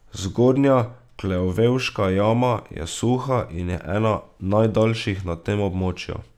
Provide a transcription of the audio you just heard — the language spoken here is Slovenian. Zgornja Klevevška jama je suha in je ena najdaljših na tem območju.